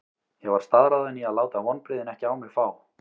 Ég var staðráðinn í að láta vonbrigðin ekki á mig fá.